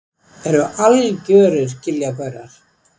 Eru algjörir giljagaurar.